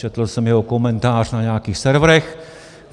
Četl jsem jeho komentář na nějakých serverech.